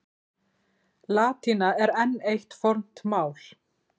Latína er enn eitt fornt mál.